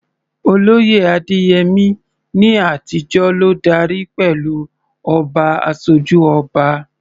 Olóyè Adeyemi, ní àtijọ́, ló darí pẹ̀lú "Oba Asoju Oba."